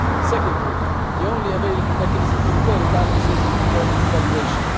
Secondly, the only available mechanism to repair imbalances is internal devaluation.